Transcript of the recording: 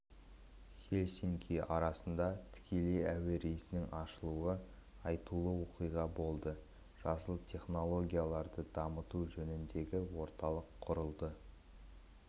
хельсинки арасында тікелей әуе рейсінің ашылуы айтулы оқиға болды жасыл технологияларды дамыту жөніндегі орталық құрылды